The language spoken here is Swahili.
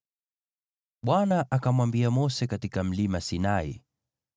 Bwana akamwambia Mose katika Mlima Sinai,